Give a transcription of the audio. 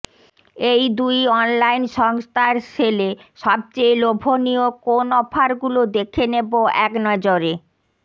এই দুই অনলাইন সংস্থার সেলে সবচেয়ে লোভনীয় কোন অফারগুলো দেখে নেব একনজরে